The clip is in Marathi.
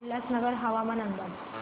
उल्हासनगर हवामान अंदाज